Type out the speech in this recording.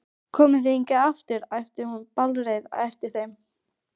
Komið þið hingað aftur! æpti hún bálreið á eftir þeim.